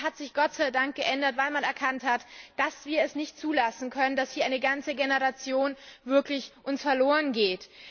Das hat sich geändert, weil man erkannt hat, dass wir es nicht zulassen können, dass uns hier eine ganze Generation wirklich verloren geht.